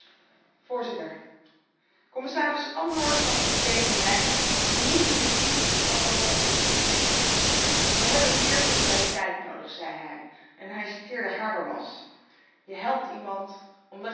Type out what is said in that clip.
Commissaris Andor gaf op 7 mei een bemoedigende speech over wat ons te doen staat. Wij hebben meer solidariteit nodig, zei hij en hij citeerde Habermas Je helpt iemand omdat je een gezamenlijke toekomst hebt.